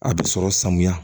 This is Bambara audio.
A bɛ sɔrɔ sanuya